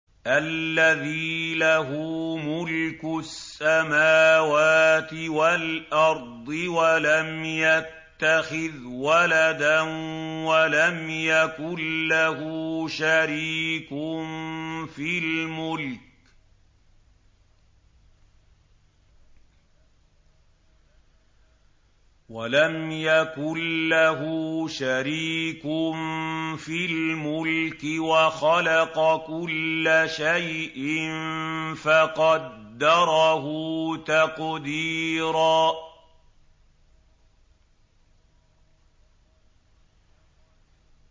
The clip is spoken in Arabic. الَّذِي لَهُ مُلْكُ السَّمَاوَاتِ وَالْأَرْضِ وَلَمْ يَتَّخِذْ وَلَدًا وَلَمْ يَكُن لَّهُ شَرِيكٌ فِي الْمُلْكِ وَخَلَقَ كُلَّ شَيْءٍ فَقَدَّرَهُ تَقْدِيرًا